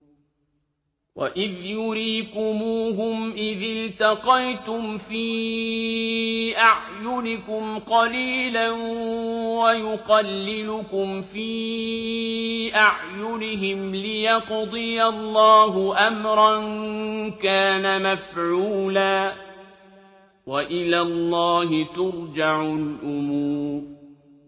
وَإِذْ يُرِيكُمُوهُمْ إِذِ الْتَقَيْتُمْ فِي أَعْيُنِكُمْ قَلِيلًا وَيُقَلِّلُكُمْ فِي أَعْيُنِهِمْ لِيَقْضِيَ اللَّهُ أَمْرًا كَانَ مَفْعُولًا ۗ وَإِلَى اللَّهِ تُرْجَعُ الْأُمُورُ